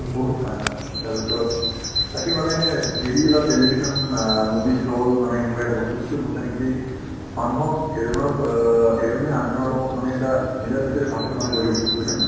বহুত পাই to তাৰপিছত তাকে মানে TV বা television অ movies hall মানে এনেকুৱা এটা বস্তু যিটো বস্তুয়ে নেকি মানুহক এজনৰ প অ এজনে আনজনৰ লগত মানে এটা মিলাপ্ৰীতিৰ ভাবতো মানে গঢ়ি উঠা বুজিছানে নাই